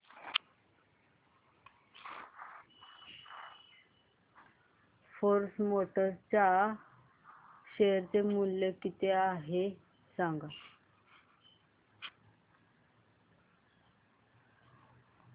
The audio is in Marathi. फोर्स मोटर्स च्या शेअर चे मूल्य किती आहे सांगा